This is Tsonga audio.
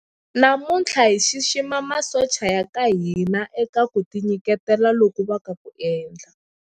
Namuntlha hi xixima masocha ya ka hina eka ku tinyiketela loku va nga ku endla.